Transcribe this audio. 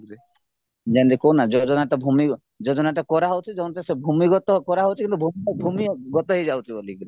ଯେମିତି କହୁନ ଭୂମି ଭୂମି ଯୋଜନା କରାଯାଉଛି ସେ ଭୂମିଗତ କରାଯାଉଛି କିନ୍ତୁ ଭୂମିଗତ ହେଇଯାଉଛି ବୋଲିକିରି